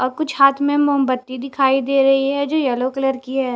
और कुछ हाथ मे मोमबत्ती दिखाई दे रही है जो येलो कलर की है।